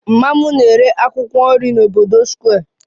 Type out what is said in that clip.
Mama m na-ere akwụkwọ nri n'obodo Square